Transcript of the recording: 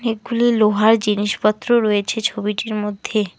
গুলি লোহার জিনিসপত্র রয়েছে ছবিটির মধ্যে।